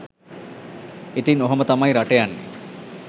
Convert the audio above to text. ඉතින් ඔහොම තමයි රට යන්නෙ